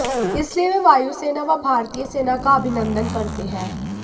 इसलिए वे वायुसेना व भारतीय सेना का अभिनंदन करते हैं